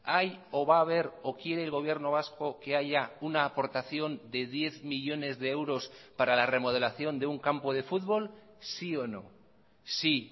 hay o va a haber o quiere el gobierno vasco que haya una aportación de diez millónes de euros para la remodelación de un campo de fútbol sí o no sí